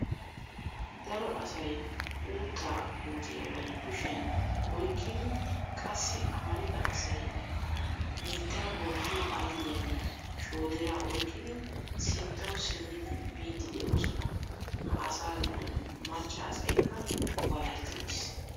Dato asay uuttaa puutiya bari kushiyan oyqqidi qassi amarida asay niittaa bookkiyo aylliyanne shoodiraa oyqqidi sinttawu simmidi biiddi de'oosona. Ha asaa giddon macca asaykka walahetti uttiis.